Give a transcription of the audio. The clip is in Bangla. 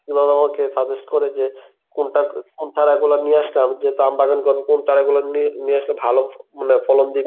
ওনারা আমাকে suggest করে যে কোনটা কোন চারা গুলো নিয়া আসলাম যেহুতু আমবাগান করবো কোন চারা গুলা নিয়ে নিয়ে আসলে ভালো মানে ফলন দিবে.